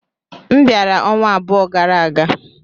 M bịara ọnwa abụọ gara aga.